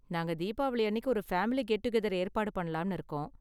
நாங்க தீபாவளி அன்னிக்கு ஒரு ஃபேமிலி கெட்டூகெதர் ஏற்பாடு பண்ணலாம்னு இருக்கோம்.